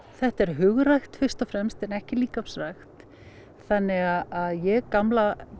þetta er hugrækt fyrst og fremst en ekki líkamsrækt þannig að ég gamla